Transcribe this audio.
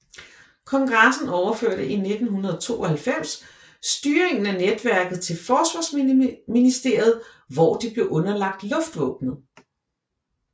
Kongressen overførte i 1992 styringen af netværket til Forsvarsministeriet hvor det blev underlagt luftvåbnet